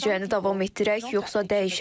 Müalicəni davam etdirək, yoxsa dəyişək?